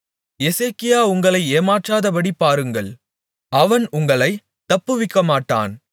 எசேக்கியா உங்களை ஏமாற்றாதபடி பாருங்கள் அவன் உங்களைத் தப்புவிக்கமாட்டான்